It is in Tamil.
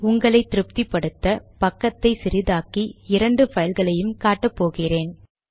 உங்களை திருப்தி படுத்த இப்போது பக்கத்தை சிறிதாக்கி உங்களுக்கு இரண்டு பைல் களையும் காட்ட போகிறேன்